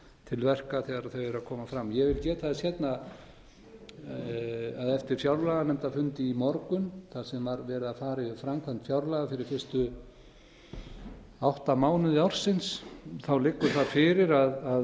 til verka þegar þau eru að koma fram ég vil geta þess hérna að eftir fjárlaganefndarfund í morgun þar sem var verið að fara yfir framkvæmt fjárlaga fyrir fyrstu átta mánuði ársins liggur það fyrir að